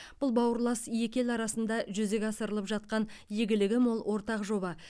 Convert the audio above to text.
бұл бауырлас екі ел арасында жүзеге асырылып жатқан игілігі мол ортақ жоба